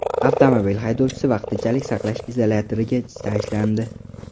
Avtomobil haydovchisi vaqtinchalik saqlash izolyatoriga tashlandi.